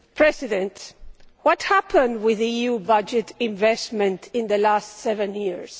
Mr President, what has happened with EU budget investment in the last seven years?